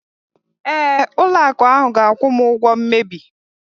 Ee, ụlọ akụ ahu ga-akwụ m ụgwọ mmebi.